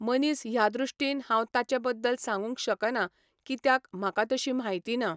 मनीस ह्या दृश्टीन हांव ताचे बद्दल सांगूंक शकना कित्याक म्हाका तशी म्हायती ना.